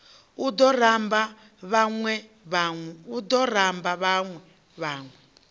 u ḓo ramba vhaṅwe vhane